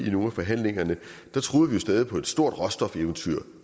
i nogle af forhandlingerne troede vi stadig på et stort råstofeventyr